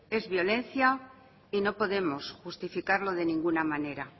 es violencia y no podemos justificarlo de ninguna manera